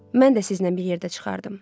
Mən də sizinlə bir yerdə çıxardım.